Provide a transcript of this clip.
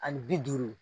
Ani bi duuru